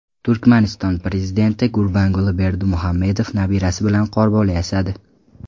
Turkmaniston prezidenti Gurbanguli Berdimuhamedov nabirasi bilan qorbola yasadi .